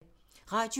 Radio 4